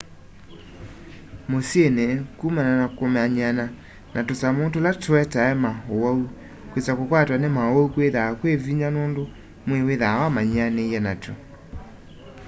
mũsyĩnĩ kũmana na kũmanyĩana na tũsamũ tũla tũetae ma ũwaũ kwĩsa kũkwatwa nĩ maũwaũ kwĩthaa kwĩ vĩnya nũndũ mwĩĩ wĩthaa wamanyĩanĩĩe natwo